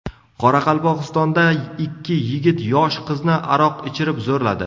Qoraqalpog‘istonda ikki yigit yosh qizni aroq ichirib zo‘rladi.